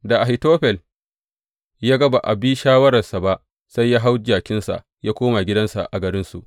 Da Ahitofel ya ga ba a bi shawararsa ba, sai ya hau jakinsa ya koma gidansa a garinsu.